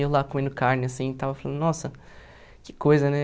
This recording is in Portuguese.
Eu lá comendo carne, assim tal, falando, nossa, que coisa, né?